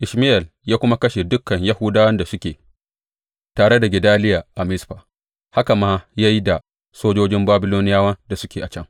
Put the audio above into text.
Ishmayel ya kuma kashe dukan Yahudawan da suke tare da Gedaliya a Mizfa, haka ma ya yi da sojojin Babiloniyawan da suke can.